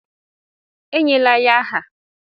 E nyela ya aha!